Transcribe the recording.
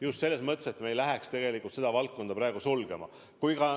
Just selles mõttes, et me ei läheks seda valdkonda sulgema.